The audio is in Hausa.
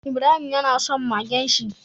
Ibrahima yana son Magen shi